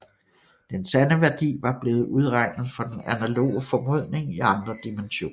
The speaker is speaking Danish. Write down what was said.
Den sande værdi var blevet udregnet for den analoge formodning i andre dimensioner